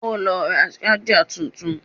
O ló ra ṣájà tuntun.